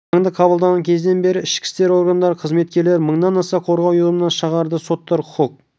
заңды қабылдаған кезден бері ішкі істер органдары қызметкерлері мыңнан аса қорғау ұйғарымын шығарды соттар құқық